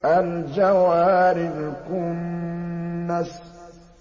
الْجَوَارِ الْكُنَّسِ